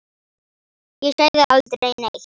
Ég sagði aldrei neitt.